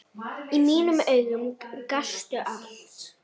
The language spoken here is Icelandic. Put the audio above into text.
Í mínum augum gastu allt.